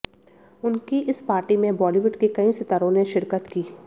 उनकी इस पार्टी में बॉलीवुड के कई सितारों ने शिरकत की